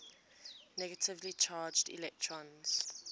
negatively charged electrons